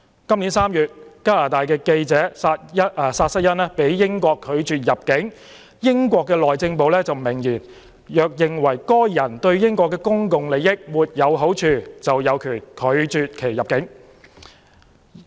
今年3月，加拿大記者薩瑟恩被英國拒絕入境，英國內政部明言，若認為該人對英國的公共利益沒有好處，就有權拒其入境。